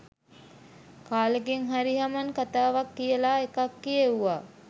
කාලෙකින් හරි හමන් කතාවක් කියලා එකක් කියෙව්වා